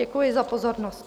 Děkuji za pozornost.